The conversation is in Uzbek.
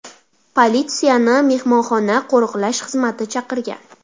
Politsiyani mehmonxona qo‘riqlash xizmati chaqirgan.